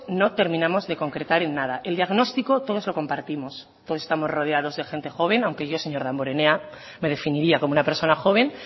no terminamos de concretar en nada el diagnóstico todos los compartimos todos estamos rodeados de gente joven aunque yo señor damborenea me definiría como una persona joven